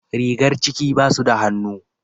Rigar ciki basu da hannu.